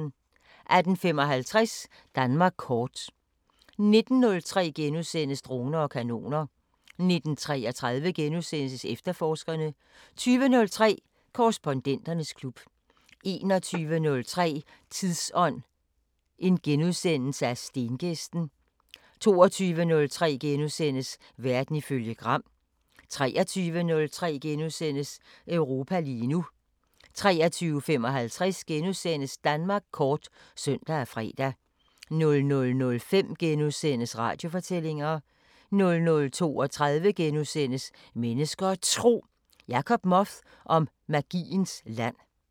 18:55: Danmark kort 19:03: Droner og kanoner * 19:33: Efterforskerne * 20:03: Korrespondenternes klub 21:03: Tidsånd: Stengæsten * 22:03: Verden ifølge Gram * 23:03: Europa lige nu * 23:55: Danmark kort *(søn og fre) 00:05: Radiofortællinger * 00:32: Mennesker og Tro: Jacob Moth om magiens land *